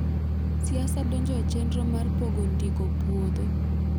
Siasa donjo e chenro mar pogo ndiko puodho